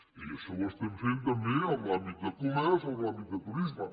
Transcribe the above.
i això ho estem fent també en l’àmbit de comerç o en l’àmbit de turisme